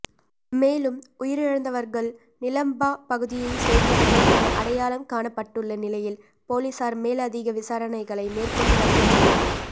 மேலும் உயிரிழந்தவர்கள் நிலம்பா பகுதியைச் சேர்ந்தவர்கள் என அடையாளம் காணப்பட்டுள்ள நிலையில் பொலிஸார் மேலதிக விசாரணைகளை மேற்கொண்டு வருகின்றனர்